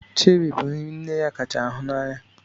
Chéri bụ nri nne ya kacha hụ n'anya.